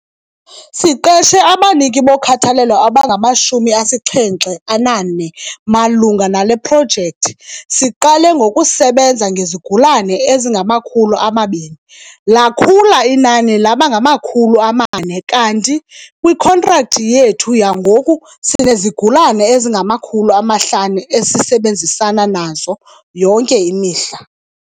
Siqeshe abaniki bokhathalelo abangama-74 malunga nale projekthi. Siqale ngokusebenza ngezigulana ezingama-200, lakhula inani laba ngama-400, kanti kwikhontrakthi yethu yangoku sinezigulana ezingama-500 esisebenzana nazo yonke imihla.